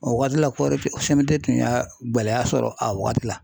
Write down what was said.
O waati la ko tun y'a gɛlɛya sɔrɔ a wagati la.